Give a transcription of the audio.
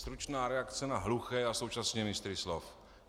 Stručná reakce na hluché a současně mistry slov.